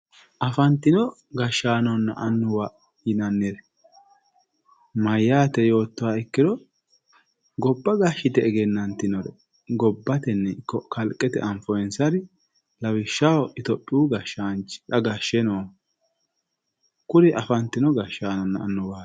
Afantino gashshaanonna annuwa yinanniri mayyate yoottoha ikkiro gobba gashshite egenantinore gobbateni ikko kalqetenni anfoninsari lawishshaho itophiyu gashaanchi xa gashe noohu ,kuri afantino annuwanna gashshaanoti.